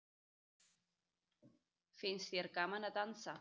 Finnst þér gaman að dansa?